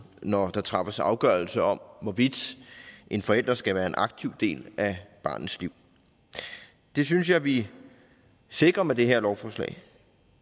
når der træffes afgørelser om hvorvidt en forælder skal være en aktiv del af barnets liv det synes jeg vi sikrer med det her lovforslag